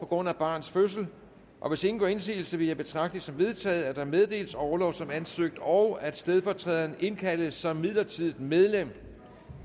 grund af barns fødsel og hvis ingen gør indsigelse vil jeg betragte det som vedtaget at der meddeles orlov som ansøgt og at stedfortræderen indkaldes som midlertidigt medlem